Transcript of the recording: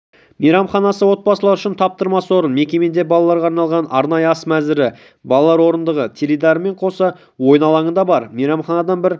мейрамханасы отбасылар үшін таптырмас орын мекемеде балаларға арналған арнайы ас мәзірі балалар орындығы теледидарымен қоса ойын алаңы да бар мейрамханадан бір